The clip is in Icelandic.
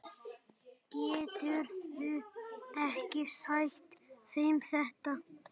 Geturðu ekki sagt þeim þetta.